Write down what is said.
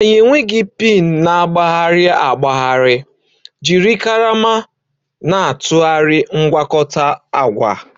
Anyị enweghị pin na-agbagharị agbagharị, jiri karama na-atụgharị mgwakota agwa